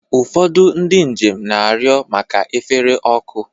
Ụfọdụ ndị njem na-arịọ maka efere ọkụ.